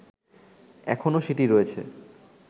এখনো সেটি রয়েছে